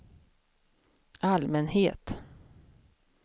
allmänhet